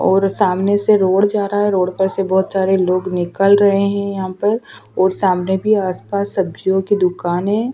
और सामने से रोड जा रहा है रोड पर से बहुत सारे लोग निकल रहे हैं यहाँ पर और सामने भी आसपास सब्जियों की दुकान है।